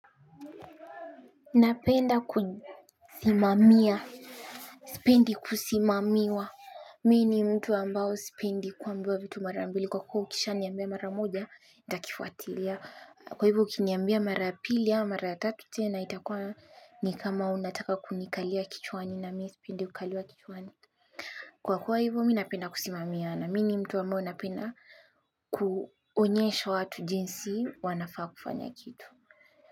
Napenda kusimamia. Sipendi kusimamiwa. Mimi ni mtu ambayo sipendi kuambiwa vitu mara mbili kwa kuwa ukisha niambia mara moja nitakifuatilia kwa hivyo ukiniambia mara ya pili au mara ya tatu tena itakua ni kama unataka kunikalia kichwani na mimi sipendi kukaliwa kichwani. Kwa kuwa hivo mimi napenda kusimamiana mimi ni mtu ambao napenda kuonyesha watu jinsi wanafaa kufanya kitu.